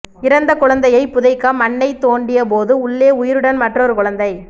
இறந்த குழந்தையை புதைக்க மண்ணை தோண்டிய போது உள்ளே உயிருடன் மற்றொரு குழந்தை